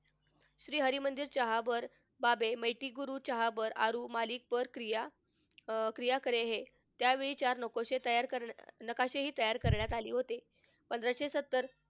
श्री हरमंदिर च्यावर बाबे क्रिया अह क्रिया करे हे. त्यावेळचे नकाशे तयार नकाशेही तयार करण्यात आले होते. पंधराशे सत्तर,